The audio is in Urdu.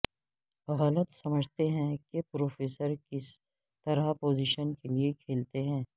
غلط سمجھتے ہیں کہ پروفیسر کس طرح پوزیشن کے لئے کھیلتے ہیں